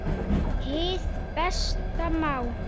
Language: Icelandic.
Hið besta mál